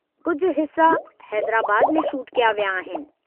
कुझु हिस्सा हैदराबाद में शूट कया विया आहिनि।